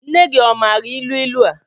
Nne gị ọ maara ilu ilu a?